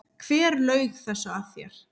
Hver laug þessu að þér?